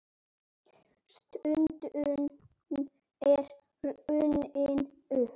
Stundin er runnin upp.